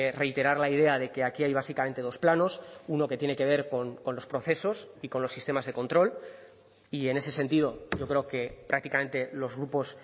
reiterar la idea de que aquí hay básicamente dos planos uno que tiene que ver con los procesos y con los sistemas de control y en ese sentido yo creo que prácticamente los grupos